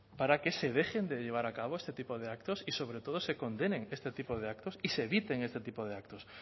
para que se dejen de llevar a cabo este tipo de actos y sobre todo se condenen este tipo de actos y se eviten este tipo de actos